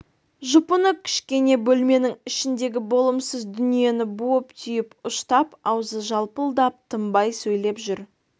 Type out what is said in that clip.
жұпыны кішкене бөлменің ішіндегі болымсыз дүниені буып-түйіп ұштап аузы жалпылдап тынбай сөйлеп жүр